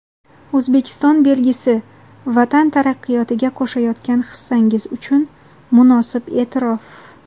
"Oʼzbekiston belgisi" — vatan taraqqiyotiga qoʼshayotgan hissangiz uchun munosib eʼtirof.